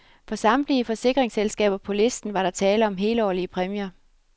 For samtlige forsikringsselskaber på listen var der tale om helårlige præmier.